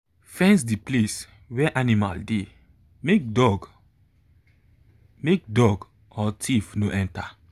fence the place where animal dey make dog make dog or thief no enter.